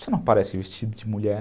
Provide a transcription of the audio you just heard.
isso não parece vestido de mulher?